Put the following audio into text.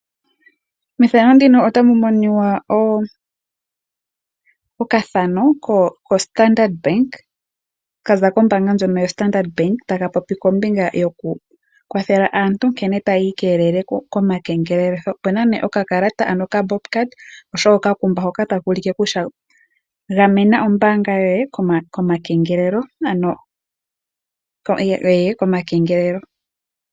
Mefano ndino otamu miniwa okathano koStandard Bank. Kaza kombanga ndjono yoStandard Bank taka popi kombinga yoku kwathela aantu nkene tayi ikelele komakengelelitho. Opuna nee okakalata ano okabob card oshowo okakumba hoka taka ulike kutya gamena ombaanga yoye komakengelelo.